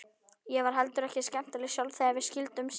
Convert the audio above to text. Ég var heldur ekkert skemmtileg sjálf þegar við skildum síðast.